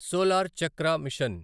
solar Chakra machine